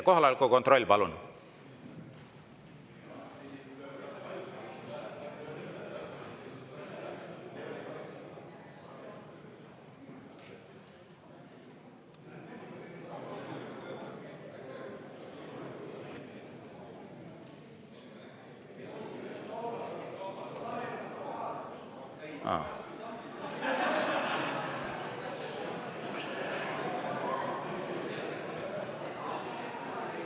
Kohaloleku kontroll, palun!